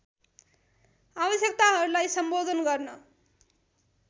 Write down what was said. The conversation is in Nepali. आवश्यकताहरूलाई सम्बोधन गर्न